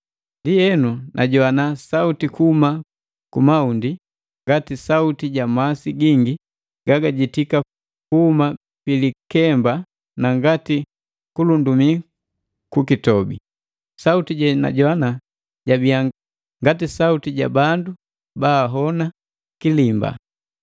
Ndienu, najoana sauti kuhuma kumaundi, ngati sauti ja masi gingi gagajitika kuhuma pilikemba na ngati kulundumii ku kitobi. Sauti jenajoana jabia ngati sauti ja bandu baahona kilimba.